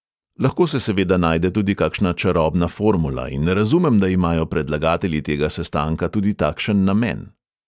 Lahko se seveda najde tudi kakšna čarobna formula in razumem, da imajo predlagatelji tega sestanka tudi takšen namen.